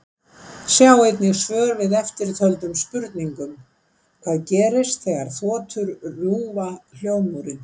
Sjá einnig svör við eftirtöldum spurningum: Hvað gerist þegar þotur rjúfa hljóðmúrinn?